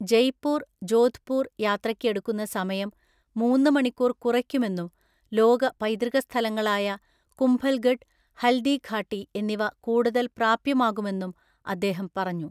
ജയ്പൂർ ജോധ്പൂർ യാത്രയ്ക്ക് എടുക്കുന്ന സമയം മൂന്ന് മണിക്കൂർ കുറയ്ക്കുമെന്നും ലോക പൈതൃക സ്ഥലങ്ങളായ കുംഭൽഗഡ്, ഹൽദി ഘാട്ടി എന്നിവ കൂടുതൽ പ്രാപ്യമാകുമെന്നും അദ്ദേഹം പറഞ്ഞു.